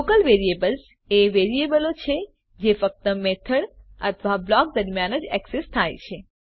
local variables એ વેરીએબલો છે જે ફક્ત મેથડ અથવા બ્લોક દરમ્યાન જ એક્સેસ થાય છે